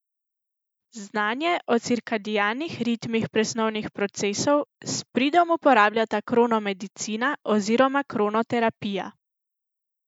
Znanje o cirkadianih ritmih presnovnih procesov s pridom uporabljata kronomedicina oziroma kronoterapija.